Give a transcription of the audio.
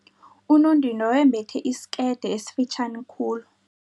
Unondindwa wembethe isikete esifitjhani khulu.